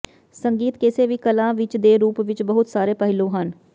ਸੰਗੀਤ ਕਿਸੇ ਵੀ ਕਲਾ ਵਿੱਚ ਦੇ ਰੂਪ ਵਿੱਚ ਬਹੁਤ ਸਾਰੇ ਪਹਿਲੂ ਹਨ